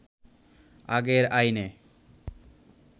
আগের আইনে